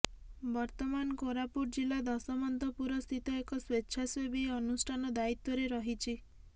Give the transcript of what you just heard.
ବର୍ତ୍ତମାନ କୋରାପୁଟ ଜିଲ୍ଲା ଦଶମନ୍ତପୁର ସ୍ଥିତ ଏକ ସ୍ୱେଚ୍ଛାସେବୀ ଅନୁଷ୍ଠାନ ଦାୟିତ୍ୱରେ ରହିଛି